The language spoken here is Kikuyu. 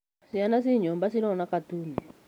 Ciana ciĩ nyũmba cĩrona katuni